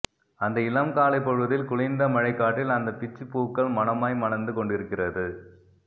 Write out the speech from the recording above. அந்த இளம் காலைப் பொழுதில் குளிர்ந்த மழைக்காற்றில் அந்தப் பிச்சிப் பூக்கள் மணமாய் மணந்து கொண்டிருக்கிறது